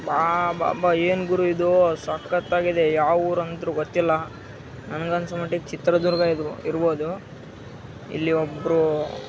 Wow ಅಬ್ಬಬ್ಬಾ ಏನು ಗುರು ಇದು ಸಕ್ಕತ್‌ ಆಗಿದೆ ಯಾವ ಊರು ಅಂತಾ ಗೊತ್ತಿಲ್ಲ. ನನಗೆ ಅನಿಸೊ ಮಟ್ಟಿಗೆ ಚಿತ್ರದುರ್ಗ ಇರ್ಬೋದು ಇಲ್ಲಿ ಒಬ್ಬ್ರು--